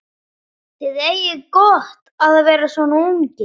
Þið eigið gott að vera svona ungir.